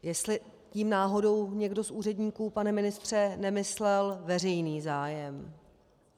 Jestli tím náhodou někdo z úředníků, pane ministře, nemyslel veřejný zájem.